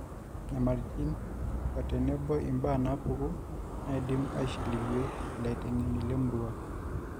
Nyamalitin otenebo im`baa napuku naidim neishiliwie illaitenge`eni le murrua